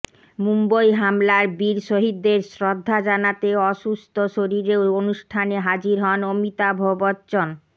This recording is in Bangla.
মুম্বই হামলার বীর শহিদদের শ্রদ্ধা জানাতে অুসুস্থ শরীরেও অনুষ্ঠানে হাজির হন অমিতাভ বচ্চন